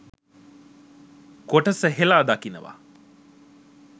කොටස හෙලා දකිනව.